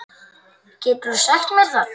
Geturðu sagt mér það?